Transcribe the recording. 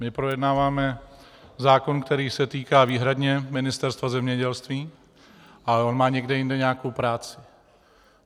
My projednáváme zákon, který se týká výhradně Ministerstva zemědělství, ale on má někde jinde nějakou práci.